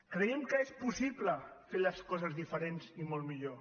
creiem que és possible fer les coses diferents i molt millor